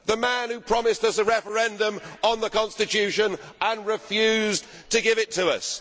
the man who promised us a referendum on the constitution and refused to give it to us.